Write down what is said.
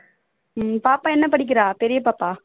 உம் பாப்பா என்ன படிக்கிறா பெரிய பாப்பா?